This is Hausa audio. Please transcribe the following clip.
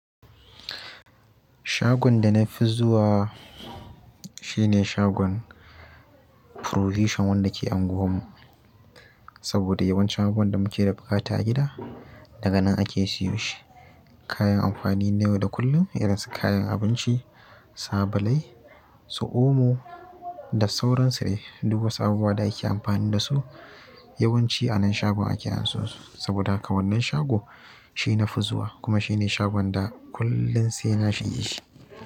Shagon da na fi zuwa shi ne shagon provision wanda ke unguwar mu. Saboda yawancin abubuwan da muke da buƙata a gida, daga nan ake siyo shi. Kayan amfani na yau da kullun irin su kayan abinci, sabulai, su omo da sauran sudai. Duk wasu abubuwa da ake amfani dasu yawanci a nan shagon ake anso su. Saboda haka wannan shago shi na fi zuwa kuma shi ne shagon da kullum sai na shige shi.